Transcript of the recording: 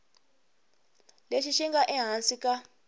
lexi xi nga ehansi ka